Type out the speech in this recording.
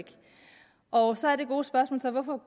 og så er det gode spørgsmål hvorfor